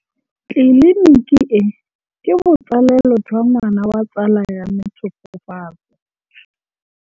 Tleliniki e, ke botsalêlô jwa ngwana wa tsala ya me Tshegofatso.